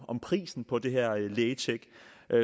om prisen på det her lægetjek